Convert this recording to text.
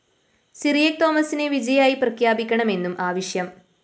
സിറിയക് തോമസിനെ വിജയായി പ്രഖ്യാപിക്കണമെന്നും ആവശ്യം